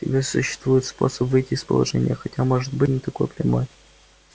всегда существует способ выйти из положения хотя может быть и не такой прямой